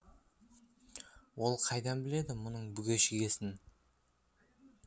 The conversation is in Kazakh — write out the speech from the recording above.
ол қайдан біледі мұның бүге шігесін